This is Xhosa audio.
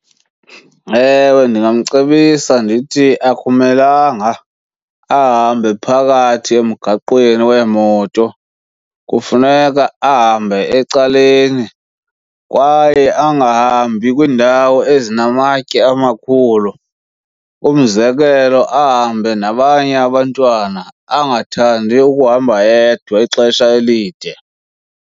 Ewe, ndingamcebisa ndithi akumelanga ahambe phakathi emgaqweni weemoto, kufuneka ahambe ecaleni kwaye angahambi kwiindawo ezinamatye amakhulu. Umzekelo, ahambe nabanye abantwana angathandi ukuhamba yedwa ixesha elide.